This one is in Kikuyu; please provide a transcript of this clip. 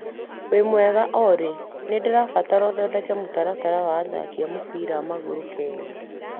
Wĩmwega Olĩ, nĩndĩrabatara ũthondeke mũtaratara wa athaki a mũbira wa magũgũrũ a Kenya .